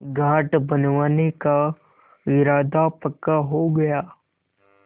घाट बनवाने का इरादा पक्का हो गया